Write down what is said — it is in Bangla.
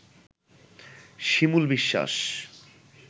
শিমুল বিশ্বাস